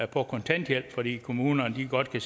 på kontanthjælp fordi kommunerne godt kan